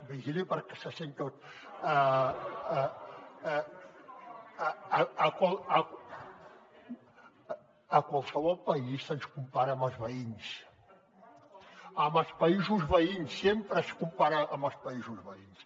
vigili perquè se sent tot a qualsevol país se’ns compara amb els veïns amb els països veïns sempre es compara amb els països veïns